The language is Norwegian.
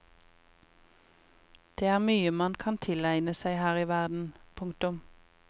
Det er mye man kan tilegne seg her i verden. punktum